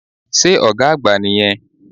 Sé Ògá àgbà nì yẹn